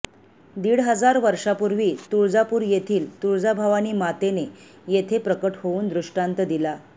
दीड हजार वर्षांपूर्वी तुळजापूर येथील तुळजाभवानी मातेने येथे प्रकट होवून दृष्टांत दिला